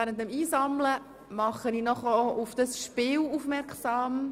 Ich mache Sie noch auf ein Spiel aufmerksam: